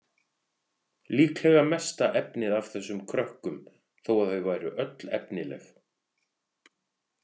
Líklega mesta efnið af þessum krökkum þó að þau væru öll efnileg.